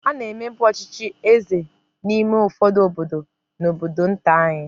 A na-emebu ọchịchị eze n'ime ụfọdụ obodo na obodo nta anyị.